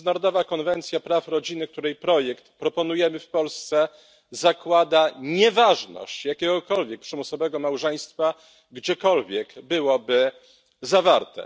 Międzynarodowa Konwencja Praw Rodziny, której projekt proponujemy w Polsce, zakłada nieważność jakiegokolwiek przymusowego małżeństwa, gdziekolwiek byłoby zawarte.